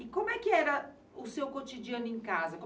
E como é que era o seu cotidiano em casa?